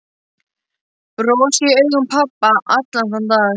Bros í augum pabba allan þann dag.